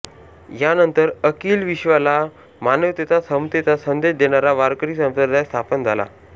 यानंतर अखिल विश्वाला मानवतेचा समतेचा संदेश देणारा वारकरी संप्रदाय स्थापन झाला